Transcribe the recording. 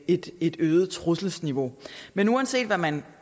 et øget trusselsniveau men uanset hvad man